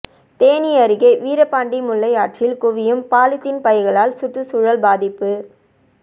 தேனி அருகே வீரபாண்டி முல்லையாற்றில் குவியும் பாலித்தீன் பைகளால் சுற்றுச்சூழல் பாதிப்பு